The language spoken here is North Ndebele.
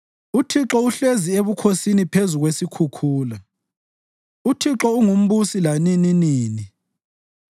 UThixo uhlezi ebukhosini phezu kwesikhukhula; uThixo unguMbusi lanininini.